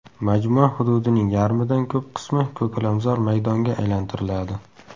Majmua hududining yarmidan ko‘p qismi ko‘kalamzor maydonga aylantiriladi.